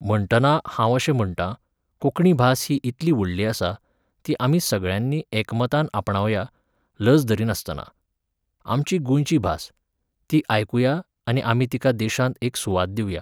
म्हणटना, हांव अशें म्हणटां, कोंकणी भास ही इतली व्हडली आसा, ती आमी सगळ्यांनी एकमतान आपणावया, लज धरिनासतना. आमची गोंयची भास. ती आयकुया आनी आमी तिका देशांत एक सुवात दिवया